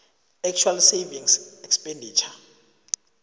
actual savings expenditure